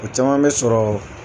O caman bɛ sɔrɔ